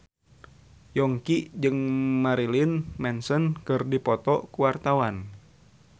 Yongki jeung Marilyn Manson keur dipoto ku wartawan